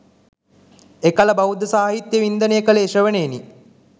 එකල බෞද්ධ සාහිත්‍ය වින්දනය කළේ ශ්‍රවණයෙනි.